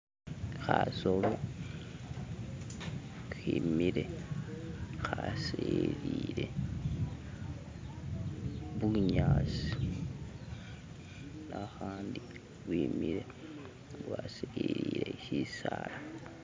khasolo khemile khasililile mubunyasi akhandi bwemile bwasililile shisaala.